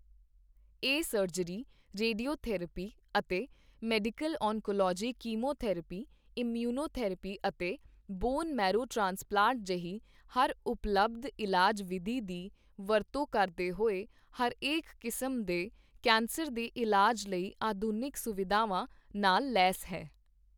ਇਹ surgery, radio therapy ਅਤੇ medical oncology chemotherapy, immunotherapy ਅਤੇ ਬੋਨ ਮੈਰੋ ਟ੍ਰਾਂਸਪਲਾਂਟ ਜਿਹੀ ਹਰ ਉਪਲਬਧ ਇਲਾਜ ਵਿਧੀ ਦੀ ਵਰਤੋਂ ਕਰਦੇ ਹੋਏ ਹਰੇਕ ਕਿਸਮ ਦੇ ਕੈਂਸਰ ਦੇ ਇਲਾਜ ਲਈ ਆਧੁਨਿਕ ਸੁਵਿਧਾਵਾਂ ਨਾਲ ਲੈਸ ਹੈ।